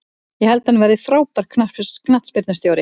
Ég held að hann verði frábær knattspyrnustjóri.